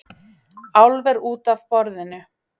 Álver út af borðinu